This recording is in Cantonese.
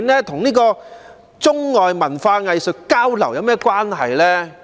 它與中外文化藝術交流有何關係？